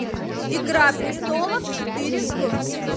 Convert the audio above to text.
игра престолов четыре к